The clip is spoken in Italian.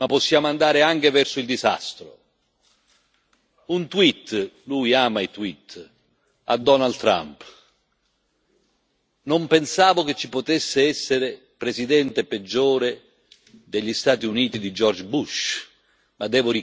Un tweet lui ama i tweet a Donald Trump. Non pensavo che ci potesse essere un Presidente degli Stati Uniti peggiore di George Bush, ma devo ricredermi perché non c'è mai limite al peggio.